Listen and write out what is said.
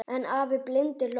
En afi blindi hló bara.